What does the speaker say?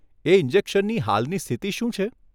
એ ઇન્જેશનની હાલની સ્થિતિ શું છે?